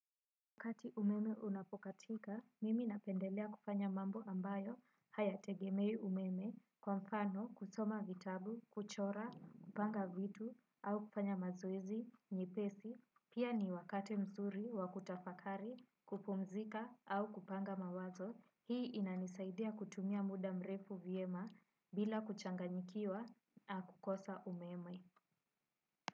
Wakati umeme unapokatika, mimi napendelea kufanya mambo ambayo hayategemei umeme kwa mfano kusoma vitabu, kuchora, kupanga vitu au kufanya mazoeizi, nyepesi, pia ni wakati mzuri, wa kutafakari, kupumzika au kupanga mawazo, hii inanisaidia kutumia muda mrefu vyema bila kuchanganyikiwa na kukosa umeme.